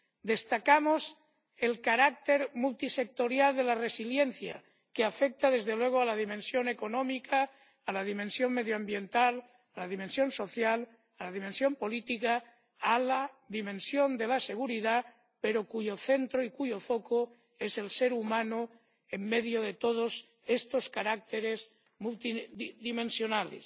Destacamos el carácter multisectorial de la resiliencia, que afecta, desde luego, a la dimensión económica, a la dimensión medioambiental, a la dimensión social, a la dimensión política y a la dimensión de la seguridad, pero cuyo centro y cuyo foco es el ser humano en medio de todos estos caracteres muy multidimensionales.